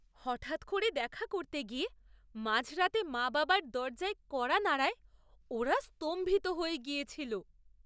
হঠাৎ করে দেখা করতে গিয়ে মাঝরাতে মা বাবার দরজার কড়া নাড়ায় ওরা স্তম্ভিত হয়ে গিয়েছিল।